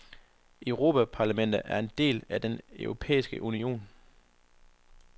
Europaparlamentet er en del af den europæiske union.